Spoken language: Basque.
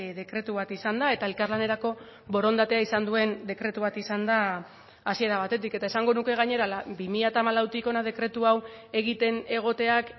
dekretu bat izan da eta elkarlanerako borondatea izan duen dekretu bat izan da hasiera batetik eta esango nuke gainera bi mila hamalautik hona dekretu hau egiten egoteak